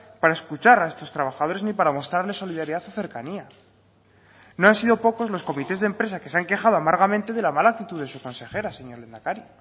para escuchar a estos trabajadores ni para mostrarles solidaridad o cercanía no han sido pocos los comités de empresa que se han quejado amargamente de la mala actitud de su consejera señor lehendakari